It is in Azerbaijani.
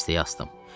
Dəstəyi asdım.